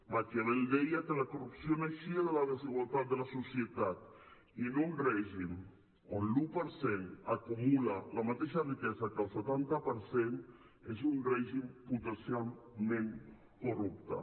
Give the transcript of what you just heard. maquiavel deia que la corrupció naixia de la desigualtat de la societat i un règim on l’un per cent acumula la mateixa riquesa que el setanta per cent és un règim potencialment corrupte